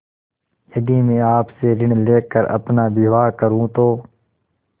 यदि मैं आपसे ऋण ले कर अपना विवाह करुँ तो